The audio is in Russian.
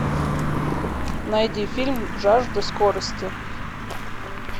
найди фильм жажда скорости